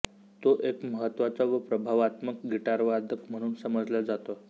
तो एक महत्त्वाचा व प्रभावात्मक गिटारवादक म्हणून समजल्या जातो